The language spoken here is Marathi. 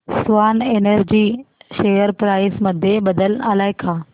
स्वान एनर्जी शेअर प्राइस मध्ये बदल आलाय का